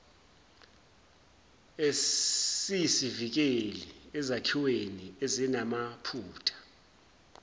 esiyisivikeli ezakhiweni ezinamaphutha